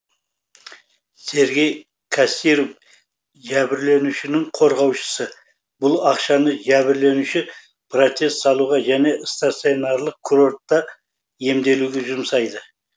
сергей кассиров жәбірленушінің қорғаушысы бұл ақшаны жәбірленуші протез салуға және стационарлық курортта емделуге жұмсайды